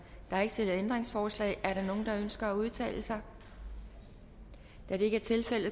er ikke stillet ændringsforslag er der nogen der ønsker at udtale sig da det ikke er tilfældet